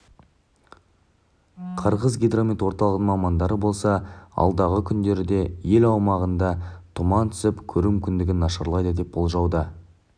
қырғызгидромет орталығының мамандары болса алдағы күндері де ел аумағында тұман түсіп көру мүмкіндігі нашарлайды деп болжауда